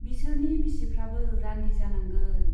बिसोरनि बिसिफ्राबो रान्दि जानांगोन।